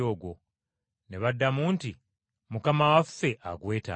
Ne baddamu nti, “Mukama waffe agwetaaga.”